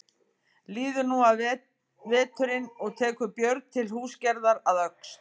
Líður nú af veturinn og tekur Björn til húsagerðar að Öxl.